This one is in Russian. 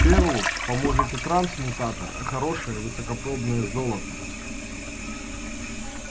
фену поможет не трансмутатор а хорошее высокопробное золото